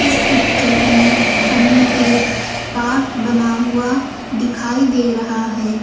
इस पिक्चर में हमें एक पार्क बना हुआ दिखाई दे रहा है।